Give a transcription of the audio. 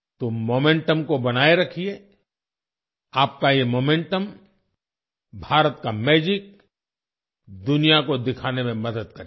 तो मोमेंटम को बनाए रखिए आपका ये मोमेंटमभारत का मैजिक दुनिया को दिखाने में मदद करेगा